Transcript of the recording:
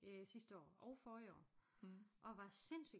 Øh sidste år og forrige år og var sindssygt